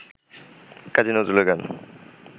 কাজী নজরুলের গান